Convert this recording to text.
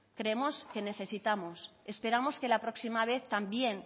creemos que necesitamos esperamos que la próxima vez también